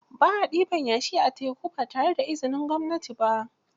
Ba a ɗiban yashi a teku ba tare da izinin gwamnati ba